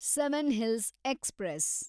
seven hills express